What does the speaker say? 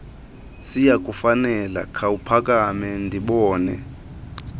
siyakufanela khawuphakame ndibone